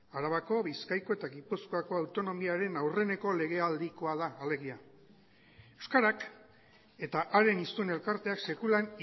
arabako bizkaiko eta gipuzkoako autonomiaren aurreneko legealdikoa da alegia euskarak eta haren hiztun elkarteak sekulan